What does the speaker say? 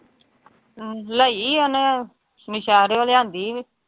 ਅਮ ਲਈ ਉਹਨੇ ਲਿਆਂਦੀ